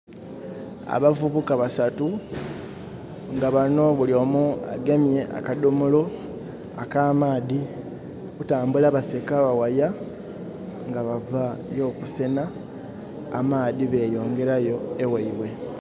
Abavubuka basatu nga banho buli omu agemye akadhomolo ak'amaadhi. Kutambula baseka baghaya nga bava y'okusenha amaadhi beyongerayo eghaibwe.